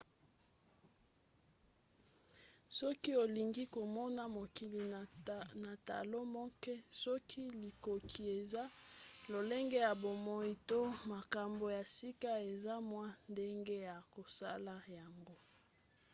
soki olingi komona mokili na talo moke soki likoki eza lolenge ya bomoi to makambo ya sika eza na mwa ndenge ya kosala yango